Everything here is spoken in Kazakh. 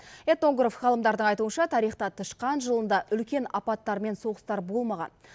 этнограф ғалымдардың айтуынша тарихта тышқан жылында үлкен апаттар мен соғыстар болмаған